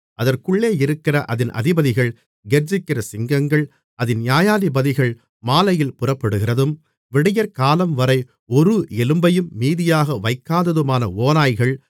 அதற்குள்ளே இருக்கிற அதின் அதிபதிகள் கெர்ச்சிக்கிற சிங்கங்கள் அதின் நியாயாதிபதிகள் மாலையில் புறப்படுகிறதும் விடியற்காலம்வரை ஒரு எலும்பையும் மீதியாக வைக்காததுமான ஓநாய்கள்